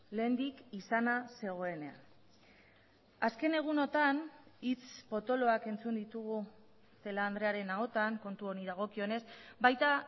lehendik izana zegoenean azken egunotan hitz potoloak entzun ditugu celaá andrearen ahotan kontu honi dagokionez baita